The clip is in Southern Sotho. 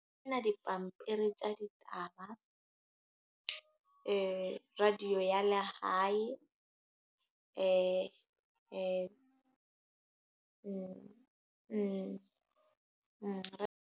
Dipampiri tsa ditaba. Radio ya lehae. .